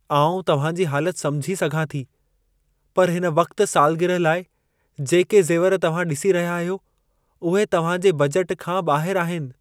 आउं तव्हां जी हालत समुझी सघां थी। पर हिन वक़्ति सालगिरह लाइ जेके ज़ेवर तव्हां ॾिसी रहिया आहियो, उहे तव्हां जे बजट खां ॿाहिर आहिनि।